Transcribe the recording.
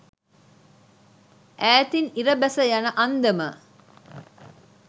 ඈතින් ඉර බැස යන අන්දම